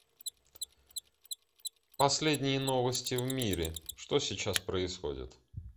последние новости в мире что сейчас происходит